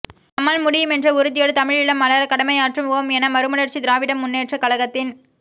நம்மால் முடியும் என்ற உறுதியோடு தமிழீழம் மலர கடமையாற்றுவோம் என மறுமலர்ச்சி திராவிட முன்னேற்றக்கழகத்தின்